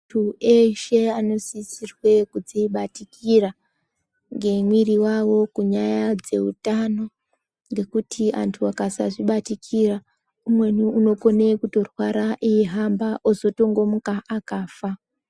Antu eshe anosisirwe kudzibatikira mwiri yawo kunyanya dzehutano ngekuti antu akasizvibatikira umweni anokona ukurwara eihamba ozotongomuka akafa.